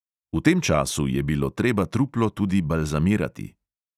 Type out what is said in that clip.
V tem času je bilo treba truplo tudi balzamirati.